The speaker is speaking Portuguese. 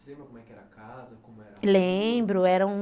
lembro, era um